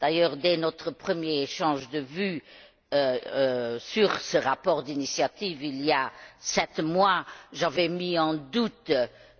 D'ailleurs, dès notre premier échange de vues sur ce rapport d'initiative, il y a sept mois, j'avais mis en doute